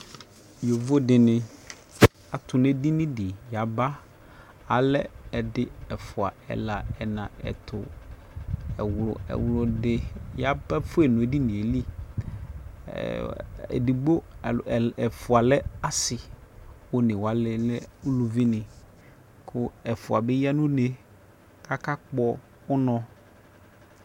Yovodi ni atu nʋ edini di yaba Alɛ ɛdi ɛfua ɛla ɛtʋ ɛwlʋ ɛwlʋdi yaba fue nʋ edini gɛ lι Ɛɛ edigbo ɛfua lɛ asi kʋ one wani lɛ uluvi ni kʋ ɛfua bi ya nʋ une kakakpɔ unɔ